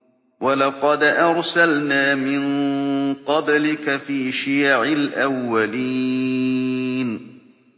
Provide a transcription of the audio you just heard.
وَلَقَدْ أَرْسَلْنَا مِن قَبْلِكَ فِي شِيَعِ الْأَوَّلِينَ